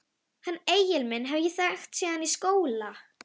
Hann Egil minn hef ég þekkt síðan í skóla.